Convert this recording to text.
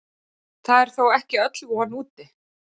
Það er þó ekki öll von úti.